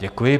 Děkuji.